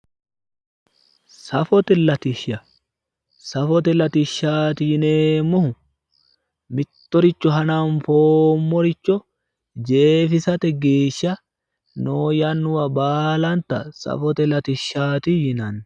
safote latishsha safote latishshaati yineemmohu mittoricho hananfoommoricho jeefote geeshsha noo yannuwa baalanta safote latishshaati yinanni.